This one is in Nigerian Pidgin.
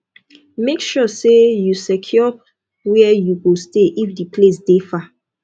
make sure say you secure where you go stay if di place de far